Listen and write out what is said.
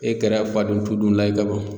E kɛra faden to dunna ye ka ban.